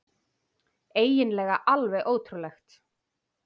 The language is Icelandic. Eiginlega alveg ótrúlegt.